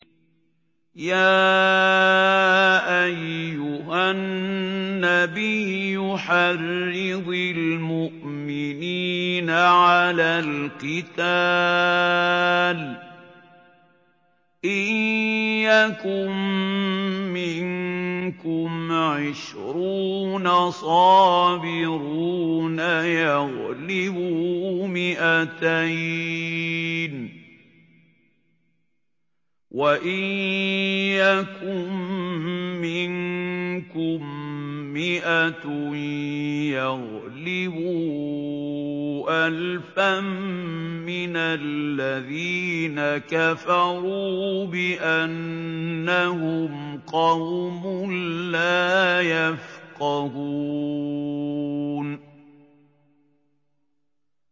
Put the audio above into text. يَا أَيُّهَا النَّبِيُّ حَرِّضِ الْمُؤْمِنِينَ عَلَى الْقِتَالِ ۚ إِن يَكُن مِّنكُمْ عِشْرُونَ صَابِرُونَ يَغْلِبُوا مِائَتَيْنِ ۚ وَإِن يَكُن مِّنكُم مِّائَةٌ يَغْلِبُوا أَلْفًا مِّنَ الَّذِينَ كَفَرُوا بِأَنَّهُمْ قَوْمٌ لَّا يَفْقَهُونَ